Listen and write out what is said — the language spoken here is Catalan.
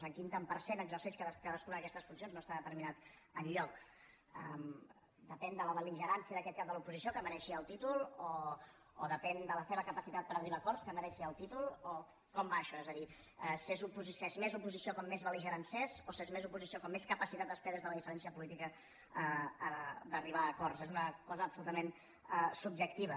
en quin tant per cent exerceix cadascuna d’aquestes funcions no està determinat enlloc depèn de la bel·ligerància d’aquest cap de l’oposició que mereixi el títol o depèn de la seva capacitat per arribar a acords que mereixi el títol o com va això és a dir s’és més oposició com més belligerant s’és o s’és més oposició com més capacitat es té des de la diferència política d’arribar a acords és una cosa absolutament subjectiva